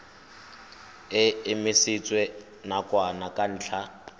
e emisitswe nakwana ka ntlha